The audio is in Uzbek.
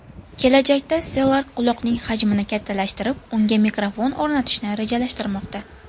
Kelajakda Stelark quloqning hajmini kattalashtirib, unga mikrofon o‘rnatishni rejalashtirmoqda.